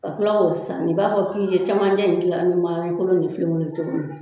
Ka kila k'o saani i b'a fɔ k'i ye camancɛ in kila ni kolon ni filen kolon ye cogo min